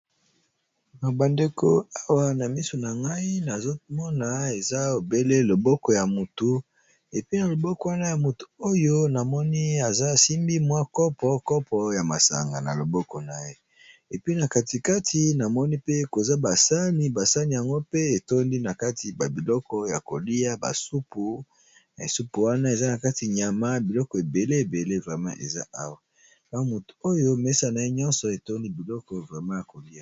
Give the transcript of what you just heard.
Babandeko awa na misu na ngai nazomona eza lobele loboko ya mutu, epuis na loboko wana ya motu oyo namoni aza asimbi mwa kopo, kopo ya masanga na loboko na ye epe na katikati namoni pe koza basani, basani yango pe etondi na kati nabiloko ya kolia, basupu na basupu wana eza na kati nyama, biloko ebele ebele vraiment eza awa, na mutu oyo mesa na ye nyonso etondi biloko vraiment ya kolia.